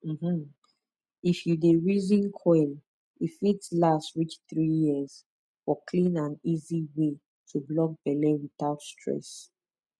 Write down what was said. um if you dey reason coil e fit last reach 3yrs for clean and easy way to block belle without stress